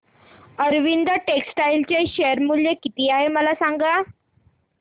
Arvind textile चे share मूल्य किती आहे मला सांगा